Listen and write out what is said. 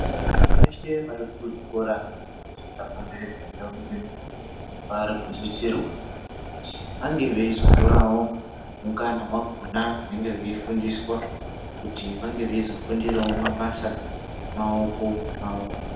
Vana veshe vari kuzvikora zvaka komberedza ndau ino vari kusisirwa kuzi vange veizo torawo mukana wakona vanenge vei fundiswa kuti vange veizo fundirawo mabasa emaoko awo.